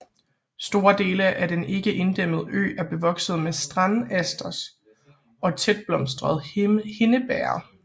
Store dele af den ikke inddæmmede ø er bevokset med strandasters og tætblomstret hindebæger